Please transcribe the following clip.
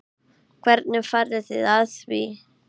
Hvernig farið þið að því?